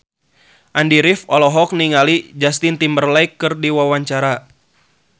Andy rif olohok ningali Justin Timberlake keur diwawancara